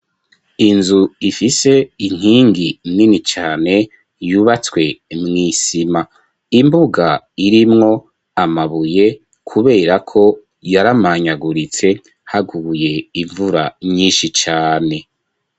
Inzu ifise inkingi nini cane yubatswe mw'isima imbuga irimwo amabuye kubera ko yaramanyaguritse haguye imvura nyinshi cane.